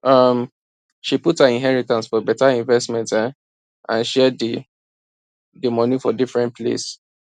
um she put her inheritance for better investment um and share d d money for different place